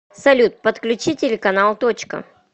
салют подключи телеканал точка